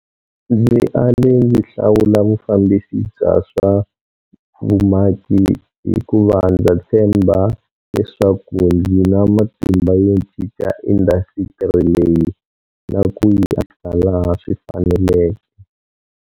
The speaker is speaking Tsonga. Ndzi ale ndzi hlawula vufambisi bya swa vumaki hiku va ndza tshemba leswaku ndzi na matimba yo cinca indasitiri leyi na ku yi antswisa laha swi faneleke.